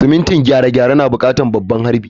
Simintin gyare-gyare na buƙatar babban harbi.